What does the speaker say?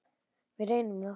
Við reynum það.